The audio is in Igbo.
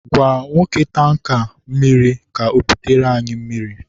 gwa nwoke tanka mmiri ka o bute anyị mmiri